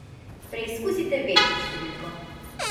Preizkusite večjo številko.